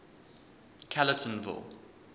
callertonville